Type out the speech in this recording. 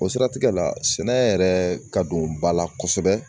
O siratigɛ la sɛnɛ yɛrɛ ka don ba la kosɛbɛ